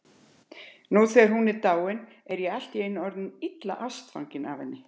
Nú þegar hún er dáin er ég allt í einu orðinn illa ástfanginn af henni.